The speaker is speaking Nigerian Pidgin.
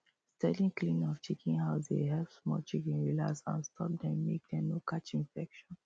steady cleaning of chicken house dey help small chicken relax and stop dem make dem no catch infection